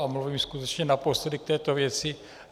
A mluvím skutečně naposledy k této věci.